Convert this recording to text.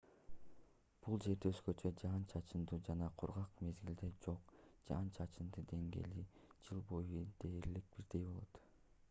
бул жерде өзгөчө жаан-чачындуу жана кургак мезгилдер жок жаан-чачындын деңгээли жыл бою дээрлик бирдей болот